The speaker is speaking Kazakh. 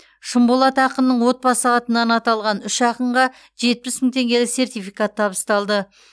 шынболат ақынның отбасы атынан аталған үш ақынға жетпіс мың теңгелік сертификат табысталды